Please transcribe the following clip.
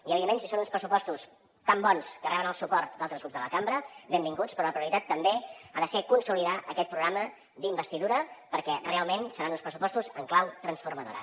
i evidentment si són uns pressupostos tan bons que reben el suport d’altres grups de la cambra benvinguts però la prioritat també ha de ser consolidar aquest programa d’investidura perquè realment seran uns pressupostos en clau transformadora